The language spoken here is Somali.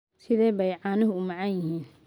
Sidee bay caanuhu u macaan yihiin?